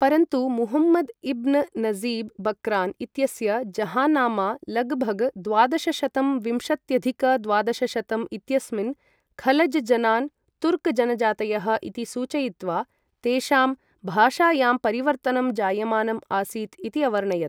परन्तु Muhammad ibn Najib Bakran इत्यस्य Jahannama लगभग द्वादशशतं विंशत्यधिक द्वादशशतं इत्यस्मिन् खलज जनान्, तुर्क जनजातयः इति सूचयित्वा तेषां भाषायां परिवर्तनं जायमानम् आसीत् इति अवर्णयत्।